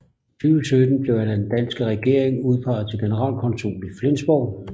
I 2017 blev han af den danske regering udpeget til generalkonsul i Flensborg